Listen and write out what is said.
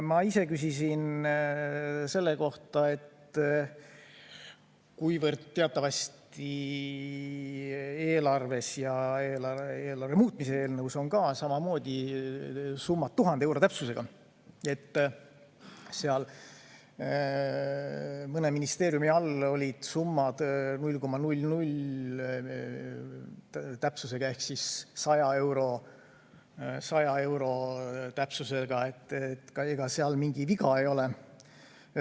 Ma ise küsisin selle kohta, et teatavasti eelarves ja eelarve muutmise eelnõus samamoodi on summad 1000 euro täpsusega, mõne ministeeriumi all aga olid summad 0,00 täpsusega ehk 100 euro täpsusega, ega seal mingi viga ei ole.